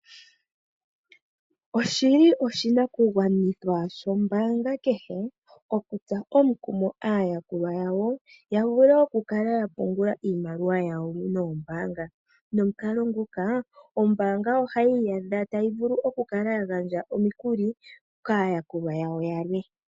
Oshi li oshinakugwanithwa shombaanga kehe okutsa omukumo aayakulwa yawo ya vule okukala ya pungula iimaliwa yawo noombaanga. Nomukalo nguka ombaanga ohayi iyadha tayi vulu okukala yagandja omikuli kaayakulwa yawo yane.